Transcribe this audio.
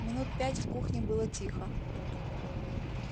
минут пять в кухне было тихо